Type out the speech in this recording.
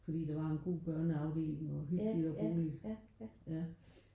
Fordi der var en god børneafdeling og hyggeligt og rummeligt ja